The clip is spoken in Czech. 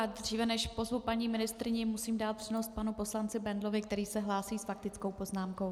A dříve než pozvu paní ministryni, musím dát přednost panu poslanci Bendlovi, který se hlásí s faktickou poznámkou.